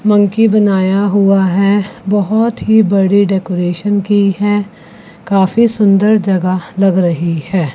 Monkey बनाया हुआ है बहुते ही बड़ी डेकोरेशन की है काफी सुंदर जगह लग रही है।